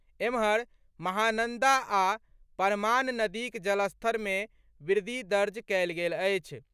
एम्हर, महानंदा आ परमान नदीक जलस्तर मे वृद्धि दर्ज कएल गेल अछि।